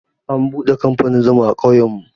An buɗe kamfanin zuma a ƙauyen mu.